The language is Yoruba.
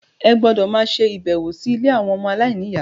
Ẹ gbọ́dọ̀ máa ṣe ìbẹ̀wò sí ilé àwọn ọmọ aláìníyà.